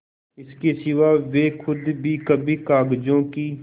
इसके सिवा वे खुद भी कभी कागजों की